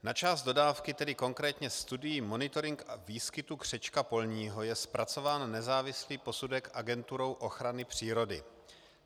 Na část dodávky, tedy konkrétně studii monitoring výskytu křečka polního, je zpracován nezávislý posudek Agenturou ochrany přírody.